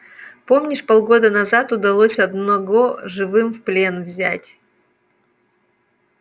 помнишь полгода назад удалось одного живым в плен взять